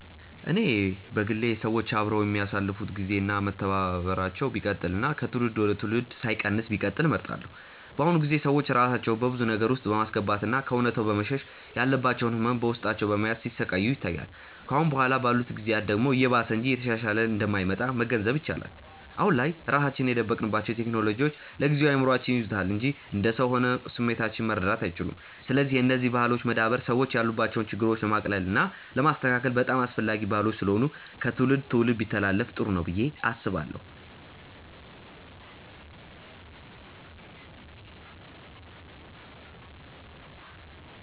እኔ በግሌ ሰዎች አብረው የሚያሳልፋት ግዜ እና መተባበራቸው ቢቀጥል እና ከትውልድ ወደ ትውልድ ሳይቀንስ ቢቀጥል እመርጣለሁ። በአሁኑ ጊዜ ሰዎች ራሳቸውን በብዙ ነገር ውስጥ በማስገባት እና ከእውነታው በመሸሽ ያለባቸውን ህመም በውስጣቸው በመያዝ ሲሰቃዩ ይታያል። ከአሁን በኋላ ባሉት ጊዜያት ደግሞ እየባሰ እንጂ እየተሻሻለ እንደማይመጣ መገንዘብ ይቻላል። አሁን ላይ ራሳችንን የደበቅንባቸው ቴክኖሎጂዎች ለጊዜው እይምሮአችንን ይይዙታል እንጂ እንደ ሰው ሆነው ስሜቶቻችንን መረዳት አይችሉም። ስለዚህ የነዚህ ባህሎች መዳበር ሰዎች ያሉባቸውን ችግሮች ለማቅለል እና ለማስተካከል በጣም አስፈላጊ ባህሎች ስለሆኑ ከትውልድ ትውልድ ቢተላለፋ ጥሩ ነው ብዬ አስባለሁ።